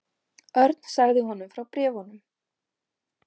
Örn sagði honum frá bréfunum.